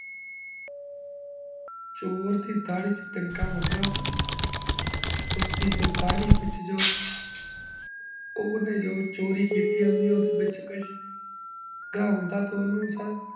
ਚੋਰ ਦੀ ਦਾਦੀ ਚ ਤਿਨਕਾ ਮਤਲਵ ਉਸਦੀ ਜੋ ਦਾੜੀ ਵਿਚ ਜੋ ਓਨੇ ਜੋ ਚੋਰੀ ਕੀਤੀ ਆਦਿ ਓਦੇ ਵਿਚ ਕੋਈ